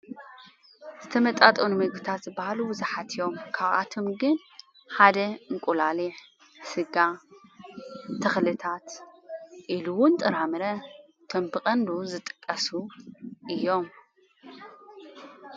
ዝተመጣጠኑ ምግብታት ዝበሃሉ ብዝሓት እዮም፡፡ ካብኣቶም ግን ሓደ እንቊላሊሕ፣ ሥጋ ፣ተኽልታት ኢሉ ውን ጥራምረ ቶምብቀንዱ ዝጥቀሱ እዮም፡፡